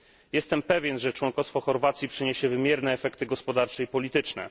Jestem pewien, że członkostwo Chorwacji przyniesie wymierne efekty gospodarcze i polityczne.